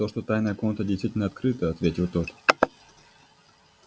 то что тайная комната действительно открыта ответил тот